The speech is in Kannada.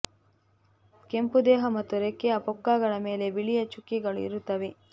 ಕೆಂಪು ದೇಹ ಮತ್ತು ರೆಕ್ಕೆಯ ಪುಕ್ಕಗಳ ಮೇಲೆ ಬಿಳಿಯ ಚುಕ್ಕಿಗಳು ಇರುತ್ತವೆ